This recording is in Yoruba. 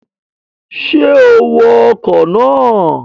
Ṣé o wọ ọkọ̀ náà?